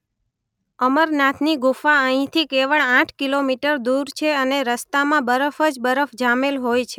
અમરનાથની ગુફા અહીંથી કેવળ આઠ કિલોમીટર દૂર છે અને રસ્તામાં બરફ જ બરફ જામેલ હોય છે.